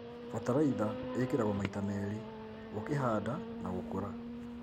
Bataraitha ĩkĩragwo maita merĩ, ũkĩhanga na gũkũra.